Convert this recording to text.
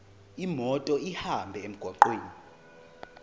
imoto ihambe emgwaqweni